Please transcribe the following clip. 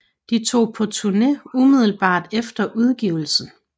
De tog på turné umiddelbart efter udgivelsen